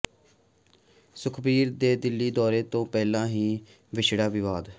ਸੁਖਬੀਰ ਦੇ ਦਿੱਲੀ ਦੌਰੇ ਤੋਂ ਪਹਿਲਾਂ ਹੀ ਛਿੜਿਆ ਵਿਵਾਦ